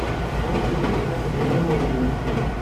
найдите рецепт вашего любимого блюда